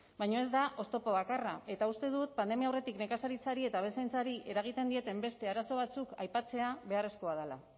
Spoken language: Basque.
baina ez da oztopo bakarra eta uste dut pandemia aurretik nekazaritzari eta abeltzaintzari eragiten dieten beste arazo batzuk aipatzea beharrezkoa dela